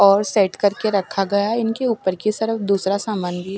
और सेट करके रखा गया है इनके ऊपर की सरफ दूसरा सामान भी --